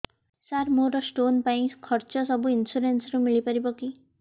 ସାର ମୋର ସ୍ଟୋନ ପାଇଁ ଖର୍ଚ୍ଚ ସବୁ ଇନ୍ସୁରେନ୍ସ ରେ ମିଳି ପାରିବ କି